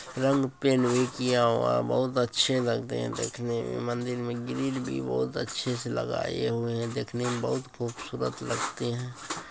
रंग पैंट भी किया हुआ है बहोत अच्छे लगते हैं देखने मे। मंदिर मे ग्रिल भी बोहोत अच्छे से लगाये हुए हैं। देखने में बहोत खूबसूरत लगते हैं।